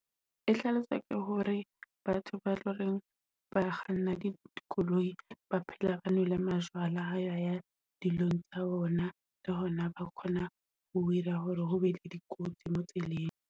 E hlalosa ke hore batho ba loreng ba kganna dikoloi, ba phela nwele majwala ha ba ya dilong tsa bona, le hona ba kgona ho ira hore ho be le dikotsi mo tseleng.